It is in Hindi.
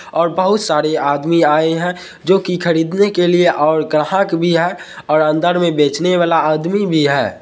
ओर बहुत सारे आदमी आए है जो की खरीदने के लिए और ग्राहक भी हैं और अंदर मे बेचने वाला आदमी भी है।